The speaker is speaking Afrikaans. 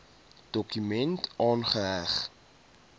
dokument aangeheg